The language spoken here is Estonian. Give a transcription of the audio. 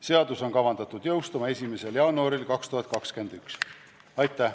Seadus on kavandatud jõustuma 1. jaanuaril 2021.